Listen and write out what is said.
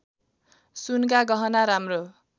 सुनका गहना राम्रो